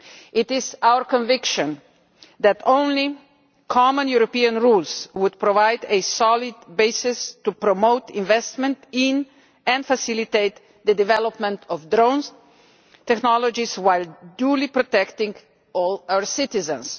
It is our conviction that only common European rules would provide a solid basis for promoting investment in, and facilitating the development of, drone technologies while duly protecting all our citizens.